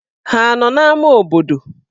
Ha nọ n'ámá obodo?